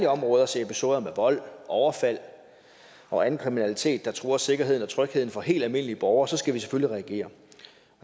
områder ser episoder med vold overfald og anden kriminalitet der truer sikkerheden og trygheden for helt almindelige borgere så skal vi selvfølgelig reagere